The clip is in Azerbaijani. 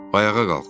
Ayağa qalx.